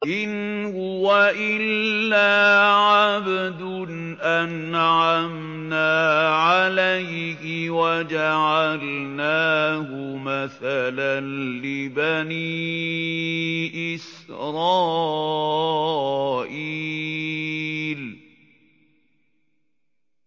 إِنْ هُوَ إِلَّا عَبْدٌ أَنْعَمْنَا عَلَيْهِ وَجَعَلْنَاهُ مَثَلًا لِّبَنِي إِسْرَائِيلَ